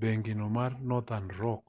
bengi no mar northern rock